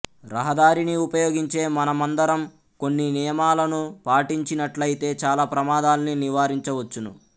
రహదారిని ఉపయోగించే మనమందరం కొన్ని నియమాలను పాటించినట్లయితే చాలా ప్రమాదాల్ని నివారించవచ్చును